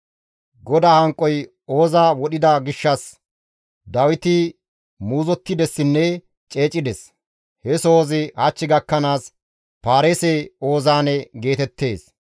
GODAA hanqoy Ooza wodhida gishshas Dawiti muuzottidessinne ceecides; he sohozi hach gakkanaas, «Paareese-Oozaane» geetettees.